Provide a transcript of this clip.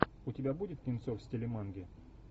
у тебя будет кинцо в стиле манги